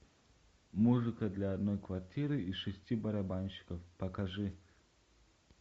музыка для одной квартиры и шести барабанщиков покажи